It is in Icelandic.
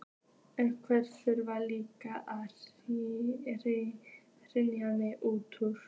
Einhver þurfti líka að hirða mig úr